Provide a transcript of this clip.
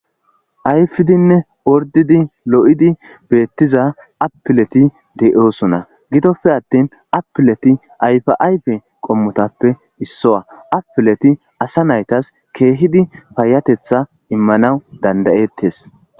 Ayfidinne ordidi lo'idi beettiza appileti de'oosona gidoppe attin apileti ayfi'ayfe qommotappe issowa apileti asa naytas keehidi paayatetha immanaw dandayettes